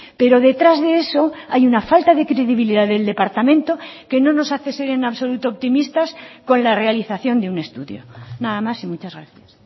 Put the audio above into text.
pero detrás de eso hay una falta de credibilidad del departamento que no nos hace ser en absoluto optimistas con la realización de un estudio nada más y muchas gracias